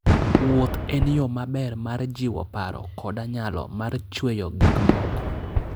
Wuoth en yo maber mar jiwo paro koda nyalo mar chweyo gik moko.